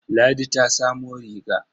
Ladi ta samo riga.